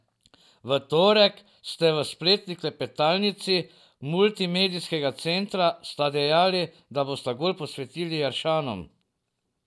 V torek ste v spletni klepetalnici Multimedijskega centra sta dejali, da boste gol posvetili Jaršanom.